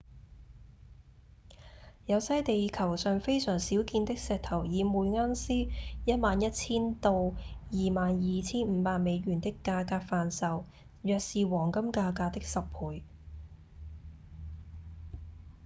有些地球上非常少見的石頭以每盎司 11,000 到 22,500 美元的價格販售約是黃金價格的10倍